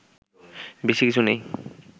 বেশি কিছু নেই